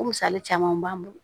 O misali caman b'an bolo